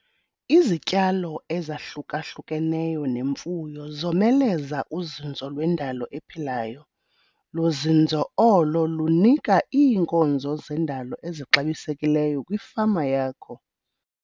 Izityalo ezahluka-hlukeneyo nemfuyo zomeleza uzinzo lwendalo ephilayo, luzinzo olo lunika iinkonzo zendalo ezixabisekileyo kwifama yakho.